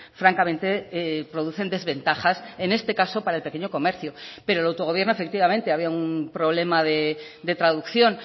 francamente producen desventajas en este caso para el pequeño comercio pero el autogobierno efectivamente había un problema de traducción